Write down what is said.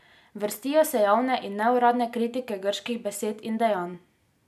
Vrstijo se javne in neuradne kritike grških besed in dejanj.